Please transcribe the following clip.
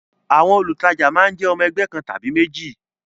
Àwọn olùtajà máa ń jẹ́ ọmọ ẹgbẹ́ kan tàbí méjì